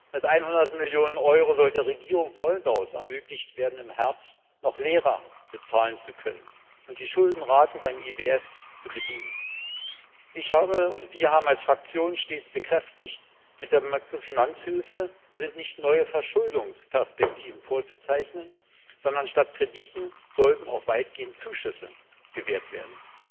Mit 100 Millionen Euro soll es der Regierung Moldaus ermöglicht werden, im Herbst noch Lehrer bezahlen zu können und die Schuldenraten beim IWF zu bedienen. Wir haben als Fraktion stets bekräftigt Mit der Makrofinanzhilfe sind nicht neue Verschuldungsperspektiven vorzuzeichnen, sondern statt Krediten sollten auch weitgehend Zuschüsse gewährt werden.